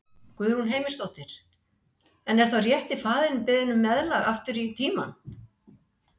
Guðrún Heimisdóttir: En er þá rétti faðirinn beðinn um meðlag aftur í tímann?